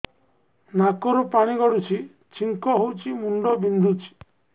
ନାକରୁ ପାଣି ଗଡୁଛି ଛିଙ୍କ ହଉଚି ମୁଣ୍ଡ ବିନ୍ଧୁଛି